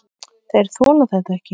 Þeir þola þetta ekki.